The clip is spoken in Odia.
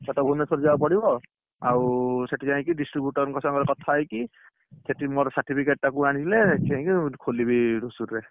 କଟକ, ଭୁବନେଶ୍ୱର ଯିବାକୁ ପଡିବ, ଆଉ ସେଠି ଯାଇକି distributer ଙ୍କ ସାଙ୍ଗରେ କଥା ହେଇକି, ସେଠି ମୋର certificate କୁ ଆଣିଲେ ଯାଇକି ଖୋଲିବି ରସୁଆଳି ରେ।